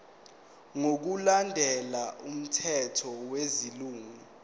ngokulandela umthetho wesilungu